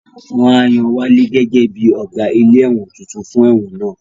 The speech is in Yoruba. Wọ́n á yan Wálé gẹ́gẹ́ bí Ọ̀gá ilé ẹ̀wọ̀n tuntun fún ẹ̀wọ̀n náà